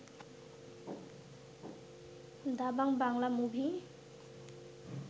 Dabangg Bangla movie